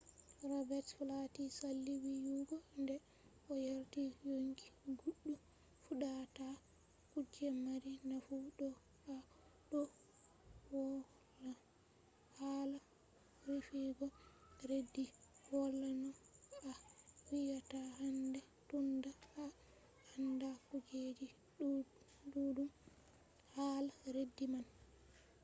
robets flati sali wiyugo nde o yardi yonki goɗɗo fuɗɗata kuje mari nafu to a ɗo woıla hala rufugo redu. wala no a wiyata handai tunda a anda kujeji ɗuɗɗum hala redu man